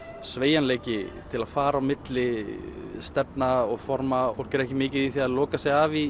sveigjanleiki til að fara á milli stefna og forma fólk er ekki mikið í því að loka sig af í